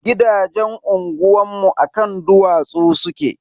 Gidajen unguwanmu a kan dutse suke.